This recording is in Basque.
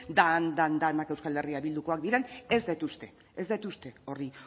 den denak euskal herria bildukoak diren ez dut uste ez dut uste hori